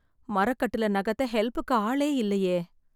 மரக்கட்டிலை நகர்த்த ஹெல்ப்புக்கு ஆளே இல்லையே.